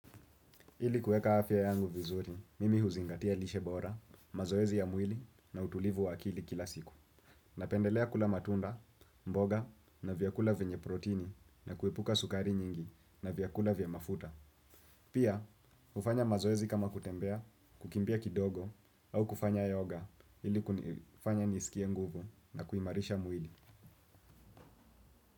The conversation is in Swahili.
Ili kuweka afya yangu vizuri, mimi huzingatia lishe bora, mazoezi ya mwili na utulivu wa akili kila siku. Napendelea kula matunda, mboga na vyakula vyenye protini na kuepuka sukari nyingi na vyakula vya mafuta. Pia, hufanya mazoezi kama kutembea, kukimbia kidogo au kufanya yoga, ili kufanya nisikie nguvu na kuimarisha mwili.